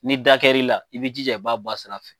Ni da kɛra i la, i bi jija i b'a bɔ a sira fɛ.